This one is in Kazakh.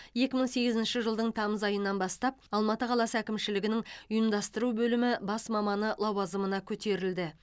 екі мың сегізінші жылдың тамыз айынан бастап алматы қаласы әкімшілігінің ұйымдастыру бөлімі бас маманы лауазымына көтерілді